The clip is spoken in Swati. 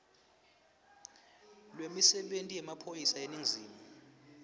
lwemisebenti yemaphoyisa eningizimu